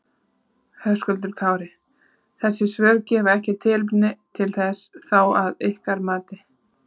Höskuldur Kári: Þessi svör gefa ekki tilefni til þess þá að ykkar mati?